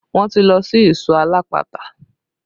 Wọn ti lọ sí ìsọ̀ alápatà